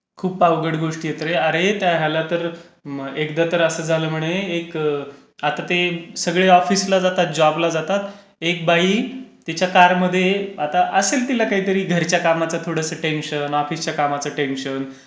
खूप अवघड गोष्टी आहेत रे. अरे, त्या ह्याला तर एकदा तर असं झालं म्हणे एक आता ते सगळे ऑफिसला जातात जॉबला जातात. एक बाई तिच्या कारमध्ये आता असेल तिला काही तरी घरच्या कामच थोडसं टेंशन, ऑफिसच्या कामाच टेंशन,